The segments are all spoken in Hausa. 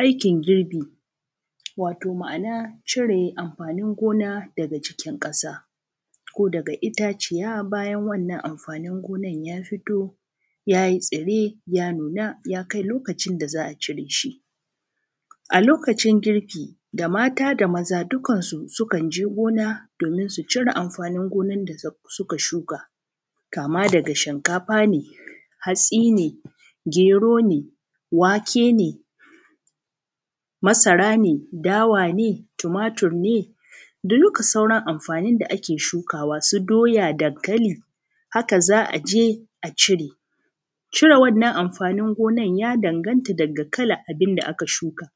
Aikin girbi, wato ma’ana cire amfanin gona daga jikin ƙasa ko daga itaciya. Bayan wannan amfanin gonan ya fito ya yi tsire ya nuna ya kai lokacin da za a cire shi A lokacin girbi, da mata da maza dukan su sukan je gona domin su cire amfanin gona da su suka shuka kama daga shinkafa ne, hatsi ne, gero ne, wake ne masara ne, dawa ne, tumatur ne, da duka sauran amfanin da ake shukawa, su doya, dankali, haka za a je a cire. Cire wannan amfanin gonan, ya danganta daga kalan abin da aka shuka.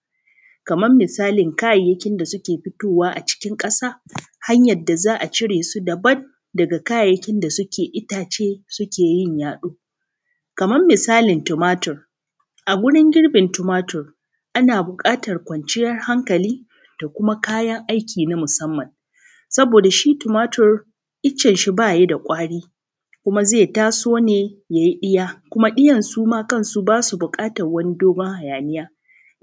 Kaman misalin kayayyakin da suke fitowa a cikin ƙasa, hanyar da za a cire su dabad daga kayayyakin da suke itace suke yin yaɗo Kaman misalign tumatur, a gurin girbin tumatur, ana buƙatar kwanciyar hankali da kuma kayan aiki na musamman. Saboda shi tumatur, icen shi ba ya da ƙwari kuma zai taso ne ya yi ɗiya, kuma ɗiyan su ma kan su ba su buƙataw wani dogon hayaniya.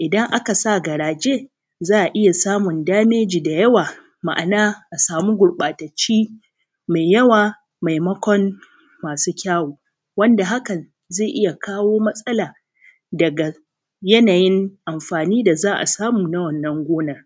Idan aka sa garaje, za a iya samun dameji da yawa, ma’ana a sami gurƃatacci mai yawa maimakon masu kyawu wanda hakan zai iya kawo matsala daga yanayin amfani da za a samu na wannan gona.